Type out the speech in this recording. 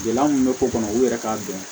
Gɛlɛya mun bɛ ko kɔnɔ u yɛrɛ k'a dɔn